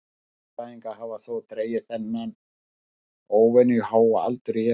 Fuglafræðingar hafa þó dregið þennan óvenju háa aldur í efa.